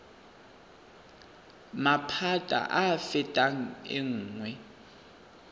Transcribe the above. maphata a a fetang nngwe